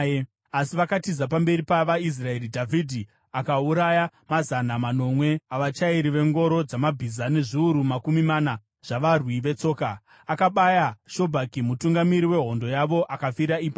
Asi vakatiza pamberi pavaIsraeri, Dhavhidhi akauraya mazana manomwe avachairi vengoro dzamabhiza nezviuru makumi mana zvavarwi vetsoka. Akabaya Shobhaki mutungamiri wehondo yavo, akafira ipapo.